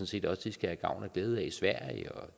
set også de skal have gavn og glæde af i sverige